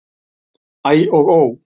Æ og ó!